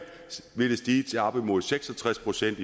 vil det stige til op imod seks og tres procent